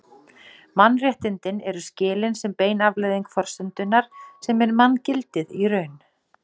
Mannréttindin eru skilin sem bein afleiðing forsendunnar sem er manngildið í raun.